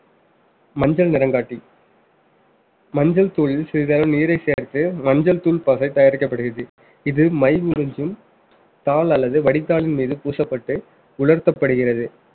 மஞ்சள் நிறங்காட்டி மஞ்சள் தூளில் சிறிதளவு நீரை சேர்த்து மஞ்சள் தூள் பசை தயாரிக்கப்படுகிறது இது மை உறிஞ்சும் தாள் அல்லது வடித்தாளின் மீது பூசப்பட்டு உலர்த்தப்படுகிறது